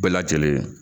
Bɛɛ lajɛlen